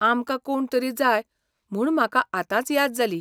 आमकां कोण तरी जाय म्हूण म्हाका आतांच याद जाली.